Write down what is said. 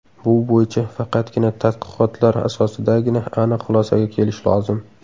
Bu bo‘yicha faqatgina tadqiqotlar asosidagina aniq xulosaga kelish lozim.